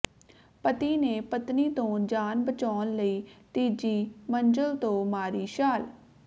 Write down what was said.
ਪਤੀ ਨੇ ਪਤਨੀ ਤੋਂ ਜਾਨ ਬਚਾਉਣ ਲਈ ਤੀਜੀ ਮੰਜ਼ਲ ਤੋਂ ਮਾਰੀ ਛਾਲ